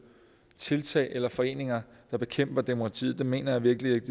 tiltag eller foreninger der bekæmper demokratiet det mener jeg virkelig ikke